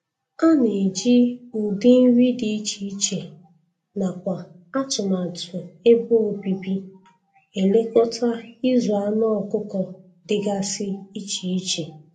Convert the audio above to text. Ana eji ụdị nri dị iche nakwa atụmatụ ebe obibi elekọta ịzụ anụ ọkụkọ dịgasị iche iche